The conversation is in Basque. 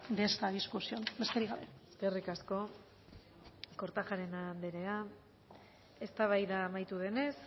de esta discusión besterik gabe eskerrik asko kortajarena andrea eztabaida amaitu denez